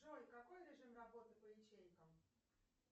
джой какой режим работы по ячейкам